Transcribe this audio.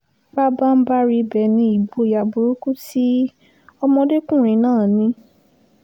pabanbarì ibẹ̀ ni ìgboyà burúkú tí ọmọdékùnrin náà ní